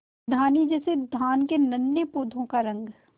धानी जैसे धान के नन्हे पौधों का रंग